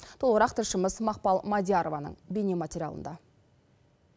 толығырақ тілшіміз мақпал мадиярованың бейнематериалында